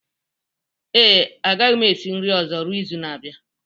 Ee, agaghị m esi nri ọzọ ruo izu na-abịa